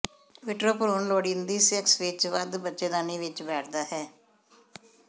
vitro ਭ੍ਰੂਣ ਲੋੜੀਦੀ sex ਵਿੱਚ ਵਧ ਬੱਚੇਦਾਨੀ ਵਿੱਚ ਬੈਠਦਾ ਹੈ